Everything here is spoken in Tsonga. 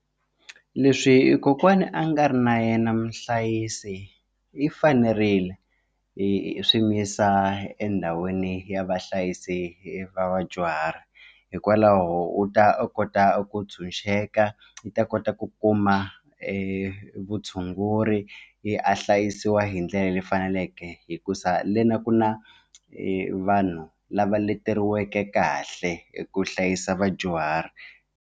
Leswi kokwana a nga ri na yena muhlayisi i fanerile yi swi mi yisa endhawini ya vahlayisi va vadyuhari hikwalaho u ta kota ku ntshunxeka i ta kota ku kuma vutshunguri a hlayisiwa hi ndlela leyi faneleke hikuza le na ku na vanhu lava leteriweke kahle hi ku hlayisa vadyuhari.